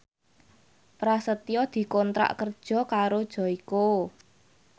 Prasetyo dikontrak kerja karo Joyko